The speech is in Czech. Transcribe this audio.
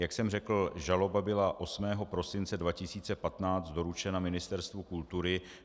Jak jsem řekl, žaloba byla 8. prosince 2015 doručena Ministerstvu kultury.